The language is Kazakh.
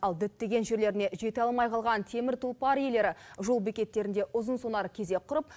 ал діттеген жерлеріне жете алмай қалған темір тұлпар иелері жол бекеттерінде ұзын сонар кезек құрып